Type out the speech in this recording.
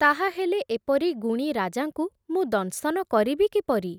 ତାହା ହେଲେ ଏପରି ଗୁଣୀ ରାଜାଙ୍କୁ ମୁଁ ଦଂଶନ କରିବି କିପରି ।